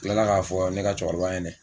Kila k'a fɔ ne ka cɛkɔrɔba ɲɛna.